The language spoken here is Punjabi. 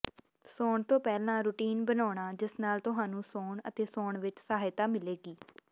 ਸੌਣ ਤੋਂ ਪਹਿਲਾਂ ਰੁਟੀਨ ਬਣਾਉਣਾ ਜਿਸ ਨਾਲ ਤੁਹਾਨੂੰ ਸੌਣ ਅਤੇ ਸੌਣ ਵਿਚ ਸਹਾਇਤਾ ਮਿਲੇਗੀ